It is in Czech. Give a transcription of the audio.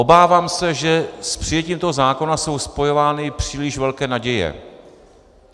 Obávám se, že s přijetím toho zákona jsou spojovány příliš velké naděje.